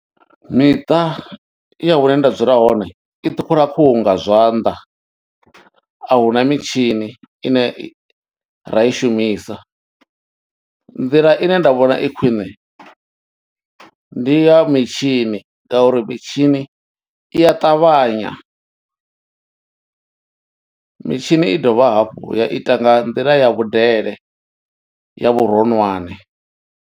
Miṱa ya hune nda dzula hone i ṱhukhula khuhu nga zwanḓa ahuna mitshini ine i ra i shumisa. Nḓila ine nda vhona i khwiṋe ndi ya mitshini ngauri mitshini i a ṱavhanya, mitshini i dovha hafhu ya ita nga nḓila ya vhudele ya vhuronwane.